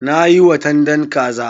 Na yi watandan kaza.